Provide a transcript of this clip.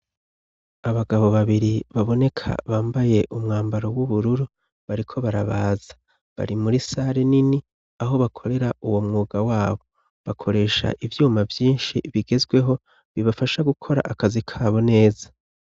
Abagabo babiri baboneka bambaye umwambaro w'ubururu bariko barabaza bari muri sare nini aho bakorera uwo mwuga wabo bakoresha ivyuma vyinshi bigezweho bibafasha gukora akazi kabo neza.